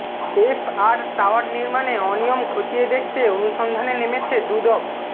F R tower নির্মাণে অনিয়ম খতিয়ে দেখতে অনুসন্ধানে নেমেছে দুদক